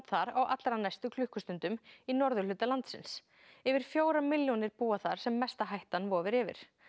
þar á allra næstu klukkustundum í norðurhluta landsins yfir fjórar milljónir búa þar sem mesta hættan vofir yfir